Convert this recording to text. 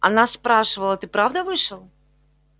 она спрашивала ты правда вышел